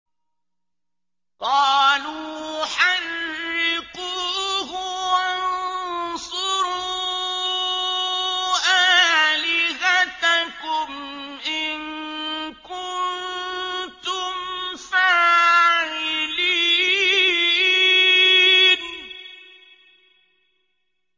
قَالُوا حَرِّقُوهُ وَانصُرُوا آلِهَتَكُمْ إِن كُنتُمْ فَاعِلِينَ